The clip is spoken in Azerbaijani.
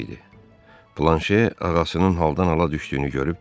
Planşe ağasının haldan hala düşdüyünü görüb dedi.